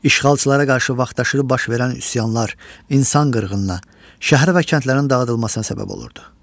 İşğalçılara qarşı vaxtaşırı baş verən üsyanlar insan qırğınına, şəhər və kəndlərin dağıdılmasına səbəb olurdu.